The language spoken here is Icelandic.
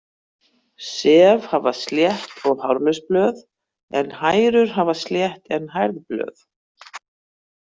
Sef hafa slétt, hárlaus blöð en hærur hafa slétt en hærð blöð.